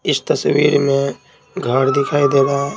इस तस्वीर में घर दिखाई दे रहा है।